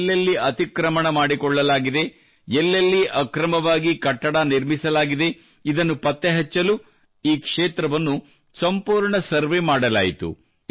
ಎಲ್ಲೆಲ್ಲಿ ಅತಿಕ್ರಮಣ ಮಾಡಿಕೊಳ್ಳಲಾಗಿದೆ ಎಲ್ಲೆಲ್ಲಿ ಅಕ್ರಮವಾಗಿ ಕಟ್ಟಡ ನಿರ್ಮಿಸಲಾಗಿದೆ ಇದನ್ನು ಪತ್ತೆಹಚ್ಚಲು ಈ ಕ್ಷೇತ್ರವನ್ನು ಸಂಪೂರ್ಣ ಸರ್ವೆ ಮಾಡಲಾಯಿತು